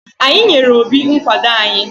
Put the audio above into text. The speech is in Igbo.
Anyị nyere Obi nkwado anyị.